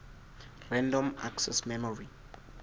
random access memory